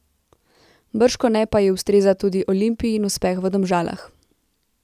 Bržkone pa ji ustreza tudi Olimpijin uspeh v Domžalah.